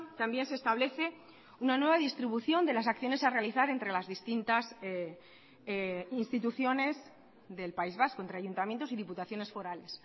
también se establece una nueva distribución de las acciones a realizar entre las distintas instituciones del país vasco entre ayuntamientos y diputaciones forales